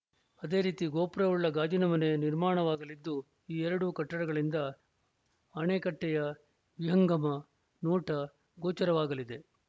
ಅದೇ ರೀತಿ ಗೋಪುರವುಳ್ಳ ಗಾಜಿನಮನೆ ನಿರ್ಮಾಣವಾಗಲಿದ್ದು ಈ ಎರಡೂ ಕಟ್ಟಡಗಳಿಂದ ಅಣೆಕಟ್ಟೆಯ ವಿಹಂಗಮ ನೋಟ ಗೋಚರವಾಗಲಿದೆ